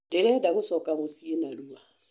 Ndĩrenda gũcoka mũciĩ narua.